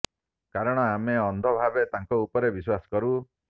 କାରଣ ଆମେ ଅନ୍ଧ ଭାବେ ତାଙ୍କ ଉପରେ ବିଶ୍ୱାସ କରୁ